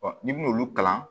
n'i ben'olu kalan